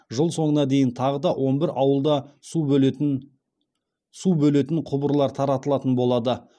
жыл соңына дейін тағы да он бір ауылда су бөлетін су бөлетін құбырлар таратылатын болады